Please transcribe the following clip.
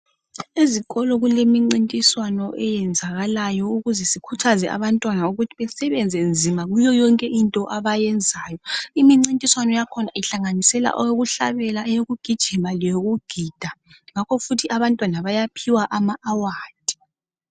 Ezikolo kulemincintiswano eyenzakalayo ukuze sikhuthaze abantwana ukuthi basebenze nzima kuyo yonke into abayenzayo. Imincintiswano yakhona ihlanganisela ukuhlabela, ukugijima lokugida njalo ngemva kwalokho bayaphiwa izicoco.